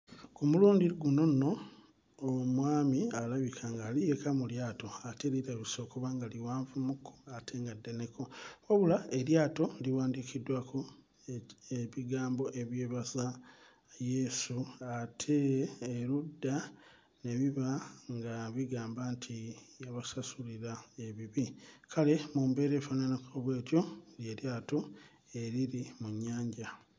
Ku mulundi guno nno omwami alabika ng'ali yekka mu lyato ate lirabise okuba nga liwanvumukko ate nga ddeneko, wabula eryato liwandiikiddwako ebigambo ebyebaza Yesu ate erudda ne biba nga bigamba nti yabasasulira ebibi. Kale mu mbeera efaananako bw'etyo ly'eryato eriri mu nnyanja.